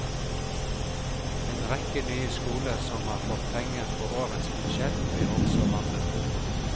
En rekke nye skoler som har fått penger på årets budsjett blir også rammet.